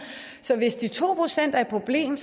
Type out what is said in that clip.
så hvis de to procent er et problem